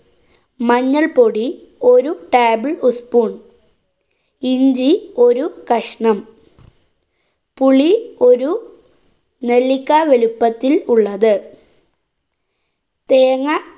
മഞ്ഞള്‍പ്പൊടി ഒരു table ഉസ് spoon. ഇഞ്ചി ഒരു കഷ്ണം. പുളി ഒരു നെല്ലിക്കാ വലുപ്പത്തില്‍ ഉള്ളത്. തേങ്ങ